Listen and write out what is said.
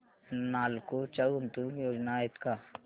नालको च्या गुंतवणूक योजना आहेत का